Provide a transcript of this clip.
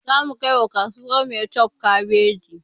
Zamu kai wa kasuwar maitwef kabeji